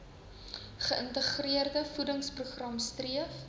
geïntegreerde voedingsprogram streef